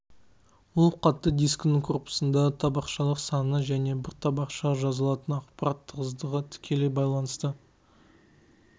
ол қатты дискінің корпусындағы табақшслар санына және бір табақшаға жазылатын ақпарат тығыздығына тікелей байланысты